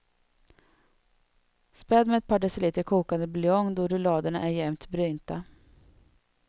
Späd med ett par deciliter kokande buljong då rulladerna är jämnt brynta.